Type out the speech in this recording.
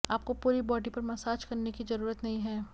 आपको पूरी बॉडी पर मसाज करने की जरूरत नहीं है